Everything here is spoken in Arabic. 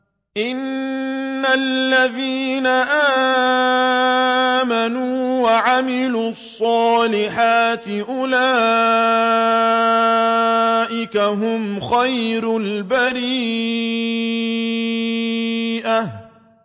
إِنَّ الَّذِينَ آمَنُوا وَعَمِلُوا الصَّالِحَاتِ أُولَٰئِكَ هُمْ خَيْرُ الْبَرِيَّةِ